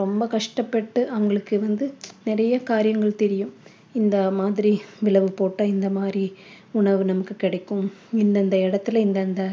ரொம்ப கஷ்டப்பட்டு அவங்களுக்கு வந்து நிறைய காரியங்கள் தெரியும் இந்த மாதிரி போட்டா இந்த மாதிரி உணவு நமக்கு கிடைக்கும் இந்தந்த இடத்தில இந்தந்த